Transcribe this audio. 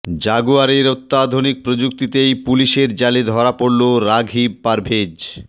জাগুয়ারের অত্যাধুনিক প্রযুক্তিতেই পুলিশের জালে ধরা পড়ল রাঘিব পারভেজ